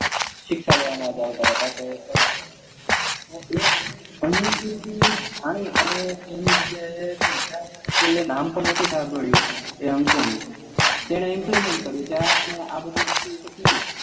શિક્ષા લેવા માં એવતા હતા એ ભણી અને એની જગાએ કોઈએ નામ પણ નાતુ સાભળ્યું એ અંકોનું તેને implement કરું ત્યારે એને આ બધી વસ્તુ કીધ્યું